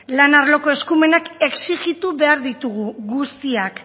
lan arloko eskumenak exigitu behar ditugu guztiak